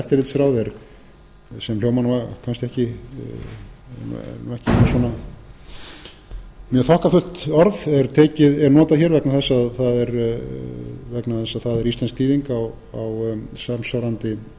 eftirlitsráð sem hljómar nú kannski ekki er ekki mjög þokkafullt orð er notað hér vegna þess að það er íslensk þýðing á samsvarandi